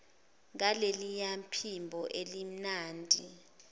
ngaleliya phimbo elimnandi